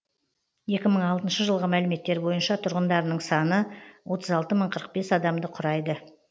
екі мың алтыншы жылғы мәліметтер бойынша тұрғындарының саны отыз алты мың қырық бес адамды құрайды